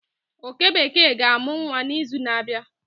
oke bekee ga-amụ nwa n'izu na-abịa